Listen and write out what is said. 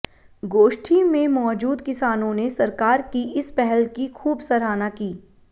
गोष्ठी में मौजूद किसानों ने सरकार की इस पहल की खूब सराहना की